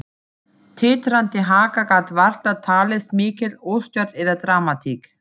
Titrandi haka gat varla talist mikil óstjórn eða dramatík.